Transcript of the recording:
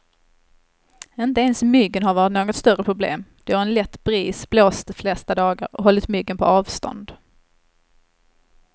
Inte ens myggen har varit något större problem, då en lätt bris blåst de flesta dagar och hållit myggen på avstånd.